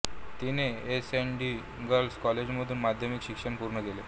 तिने SNDT girls कॉलेजमधून माध्यमिक शिक्षण पूर्ण केले